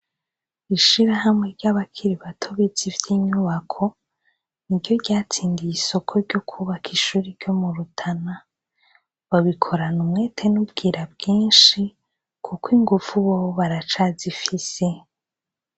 Ishirahamwe ry'abakiri bato bize ivy'inyubako niryo ryatsindiye isoko ry'ukubaka ishure ryo mu Rutana. Babikorana umwete n'ubwira bwinshi, kuko inguvu bobo baracazifise.